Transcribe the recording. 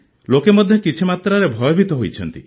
ଲୋକେ ମଧ୍ୟ କିଛି ମାତ୍ରାରେ ଭୟଭୀତ ହୋଇଛନ୍ତି